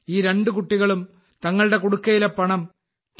ഈ രണ്ട് കുട്ടികളും തങ്ങളുടെ കുടുക്കയിലെ പണം ടി